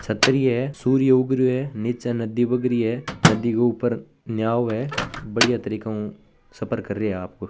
छतरी है सूर्य उग रहे है नीचे नदी भाग रही है नदी के ऊपर नाव है बढ़िया तरीका नो सफर करियो आप को।